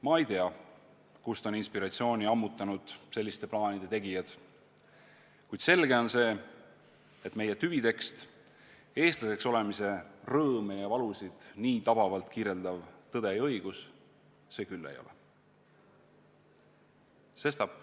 Ma ei tea, kust on inspiratsiooni ammutanud selliste plaanide tegijad, kuid selge on see, et meie tüvitekst, eestlaseks olemise rõõme ja valusid nii tabavalt kirjeldav "Tõde ja õigus" see küll ei ole.